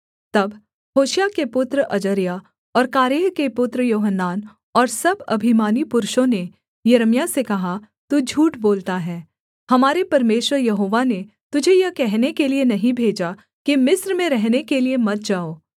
तब होशायाह के पुत्र अजर्याह और कारेह के पुत्र योहानान और सब अभिमानी पुरुषों ने यिर्मयाह से कहा तू झूठ बोलता है हमारे परमेश्वर यहोवा ने तुझे यह कहने के लिये नहीं भेजा कि मिस्र में रहने के लिये मत जाओ